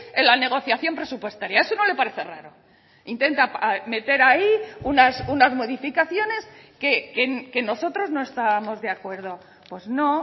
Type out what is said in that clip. en la negociación presupuestaria eso no le parece raro intenta meter ahí unas modificaciones que nosotros no estábamos de acuerdo pues no